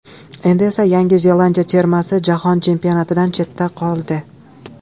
Endi esa Yangi Zelandiya termasi Jahon Chempionatidan chetda qoldi.